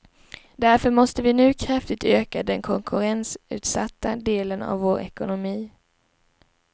Därför måste vi nu kraftigt öka den konkurrensutsatta delen av vår ekonomi.